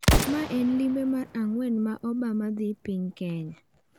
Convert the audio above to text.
Mae en limbe mar ang'wen ma Obama dhi piny Kenya.